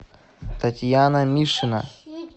татьяна мишина